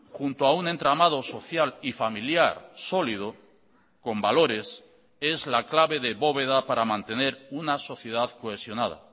junto a un entramado social y familiar sólido con valores es la clave de bóveda para mantener una sociedad cohesionada